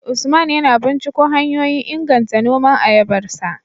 Usman yana binciko hanyoyin inganta noman ayabarsa